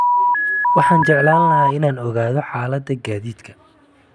Waxaan jeclaan lahaa inaan ogaado xaaladda gaadiidka